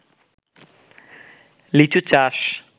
লিচু চাষ